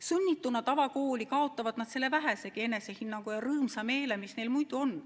Sunnituna tavakooli kaotavad nad selle vähesegi enesehinnangu ja rõõmsa meele, mis neil muidu on.